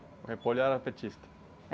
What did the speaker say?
O era petista?